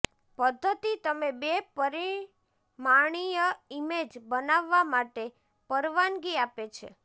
પદ્ધતિ તમે બે પરિમાણીય ઈમેજ બનાવવા માટે પરવાનગી આપે છે